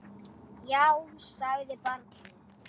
Já, sagði barnið.